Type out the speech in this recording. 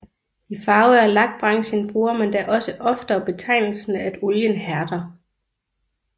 I Farve og Lak branchen bruger man da også oftere betegnelsen at olien hærder